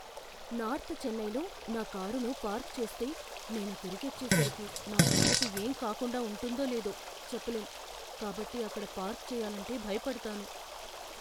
North చెన్నైలో నా కారును పార్క్ చేస్తే నేను తిరిగొచ్చేసరికి నా కారుకి ఏం కాకుండా ఉంటుందో లేదో చెప్పలేం కాబట్టి అక్కడ పార్క్ చేయాలంటే భయపడతాను.